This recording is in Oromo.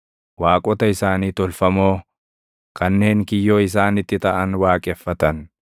Waaqota isaanii tolfamoo, kanneen kiyyoo isaanitti taʼan waaqeffatan.